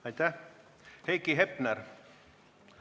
Aitäh!